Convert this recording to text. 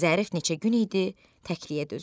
Zərif neçə gün idi təkliyə dözürdü.